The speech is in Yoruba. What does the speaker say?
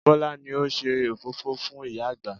Bọlá ni ó ṣe òfófó fún ìyá àgbà